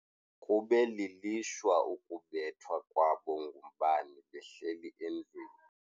Kube lilishwa ukubethwa kwabo ngumbane behleli endlwini.